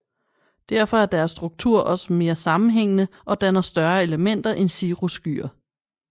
Derfor er deres struktur også mere sammenhængende og danner større elementer end cirrusskyer